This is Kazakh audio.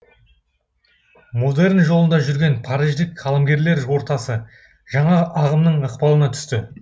модерн жолында жүрген париждік қаламгерлер ортасы жаңа ағымның ықпалына түсті